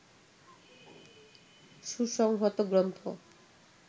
সুসংহত গ্রন্থ